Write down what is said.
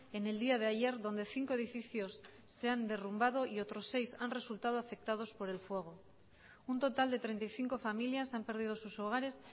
en el día de ayer donde cinco edificios se han derrumbado y otros seis han resultado afectados por el fuego un total de treinta y cinco familias han perdido sus hogares